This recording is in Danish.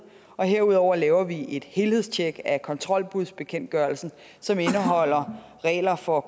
herudover laver vi et helhedstjek af kontrolbudsbekendtgørelsen som indeholder regler for